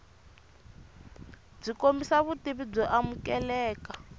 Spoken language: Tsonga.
byi kombisa vutivi byo amukeleka